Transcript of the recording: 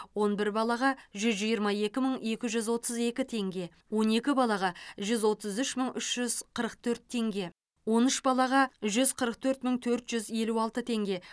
он бір балаға жүз жиырма екі мың екі жүз отыз екі теңге он екі балаға жүз отыз үш мың үш жүз қырық төрт теңге он үш балаға жүз қырық төрт мың төрт жүз елу алты теңге